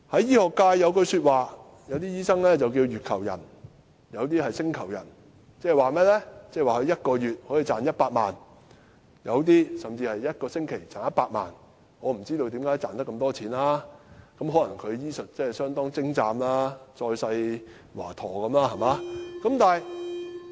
醫學界有一種說法，有些醫生叫"月球人"，有些叫"星球人"，即他一個月可以賺100萬元，有些甚至是一個星期賺100萬元，我不知道為甚麼可以賺這麼多錢，可能他們醫術相當精湛，是再世華陀。